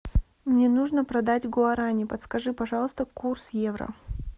мне нужно продать гуарани подскажи пожалуйста курс евро